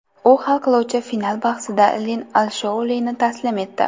U hal qiluvchi final bahsida Lin Alshoulini taslim etdi.